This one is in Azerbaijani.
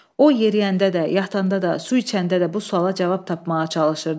O yeriyəndə də, yatanda da, su içəndə də bu suala cavab tapmağa çalışırdı.